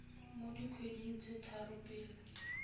mo dikgweding tse tharo pele